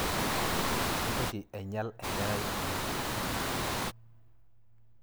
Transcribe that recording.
Mintoki ainyal enkerai ino